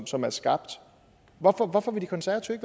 som er skabt hvorfor vil de konservative